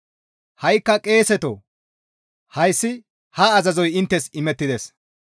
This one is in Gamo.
«Ha7ikka qeeseto hayssi ha azazoy inttes imettides.